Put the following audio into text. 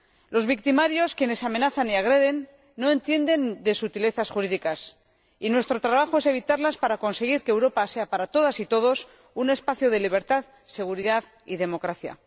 Los victimarios, quienes amenazan y agreden, no entienden de sutilezas jurídicas y nuestro trabajo es evitarlas para conseguir que Europa sea para todas y todos un espacio de libertad, seguridad y democracia.